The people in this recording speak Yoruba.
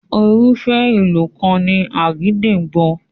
Irúfẹ́ ìlù kan ni àgídìgbo.